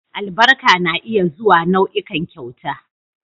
Albarka na iya zuwa nau'ikan kyauta